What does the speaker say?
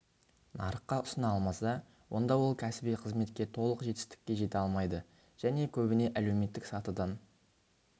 нарыққа ұсына алмаса онда ол кәсіби қызметте толық жетістікке жете алмайды және көбіне әлеуметтік сатыдан